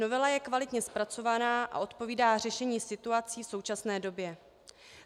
Novela je kvalitně zpracovaná a odpovídá řešení situací v současné době.